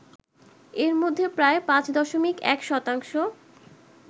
এর মধ্যে প্রায় ৫.১ শতাংশ